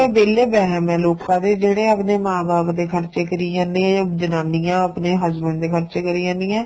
ਇਹ ਤਾਂ ਇਹ ਵੇਲੇ ਵਹਿਮ ਏ ਲੋਕਾ ਦੇ ਜਿਹੜੇ ਆਪਦੇ ਮਾਂ ਬਾਪ ਦੇ ਖਰਚੇ ਕਰੀ ਜਾਂਦੇ ਏ ਜਾਂ ਜਨਾਨੀਆਂ ਆਪਣੇ husband ਦੇ ਖਰਚੇ ਕਰੀ ਜਾਂਦੀਆਂ